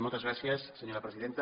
moltes gràcies senyora presidenta